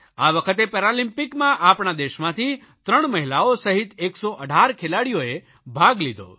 આ વખતે પેરાલમ્પિકમાં આપણા દેશમાંથી 3 મહિલાઓ સહિત 19 ખેલાડીઓએ ભાગ લીધો